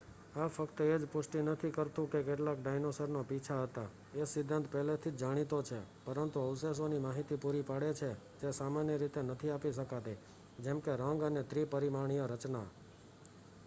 આ ફક્ત એજ પુષ્ટિ નથી કરતું કે કેટલાક ડાઈનાસોર ને પીછા હતા એ સિદ્ધાંત પહેલેથી જ જાણીતો છે પરંતુ અવશેષો ની માહિતી પૂરી પાડે છે જે સામાન્ય રીતે નથી આપી શકાતી જેમકે રંગ અને ત્રી-પરિમાણીય રચના